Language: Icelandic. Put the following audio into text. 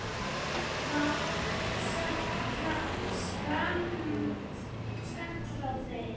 var sagt skammt frá þeim.